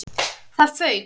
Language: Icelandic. ÞAÐ FAUK!